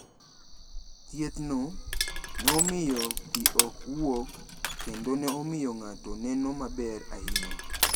Thiethno ne omiyo pi ok wuok kendo ne omiyo ng’ato neno maber ahinya.